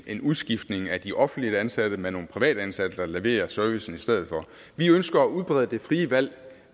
en udskiftning af de offentligt ansatte med nogle privatansatte der leverer servicen i stedet for vi ønsker at udbrede det frie valg